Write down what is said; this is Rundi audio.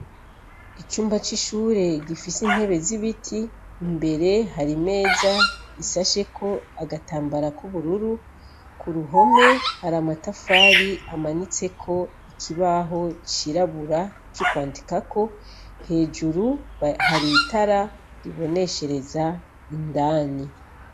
Icumba c’ishure gifise intebe z’ibiti, imbere hari imeza isasheko agatambara k’ubururu , kuruhome hari amatafari amanitseko ikibaho c’irabura co kwandikako hejuru hari itara riboneshereza indani.